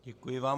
Děkuji vám.